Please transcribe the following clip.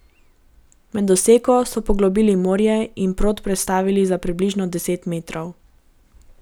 Med oseko so poglobili morje in prod prestavili za približno deset metrov.